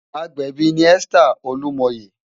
Ágbèbi ni Esther Olumoye